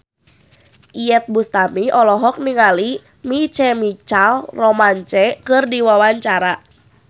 Iyeth Bustami olohok ningali My Chemical Romance keur diwawancara